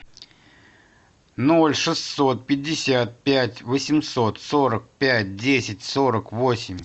ноль шестьсот пятьдесят пять восемьсот сорок пять десять сорок восемь